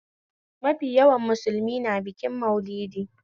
Mafi yawan musulmi na bikin maulidi